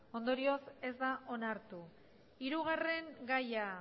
ondorioz ez da onartu hirugarren gaia